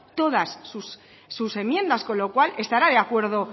todas sus enmiendas con lo cual estará de acuerdo